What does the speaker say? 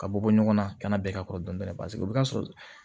Ka bɔ bɔ ɲɔgɔn na ka na bɛɛ ka kɔrɔ dɔn paseke o be ka sɔrɔ